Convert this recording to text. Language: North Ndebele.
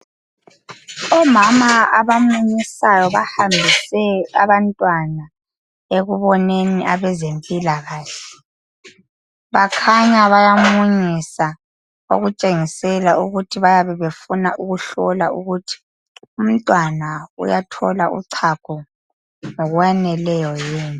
Omama abamunyisayo bahambise abantwana ekuboneni abazempilakahle , bakhanya bayamunyisa okutshengisela ukuthi bayabe befuna ukuhlola ukuthi umntwana uyathola uchago ngokwaneleyo yini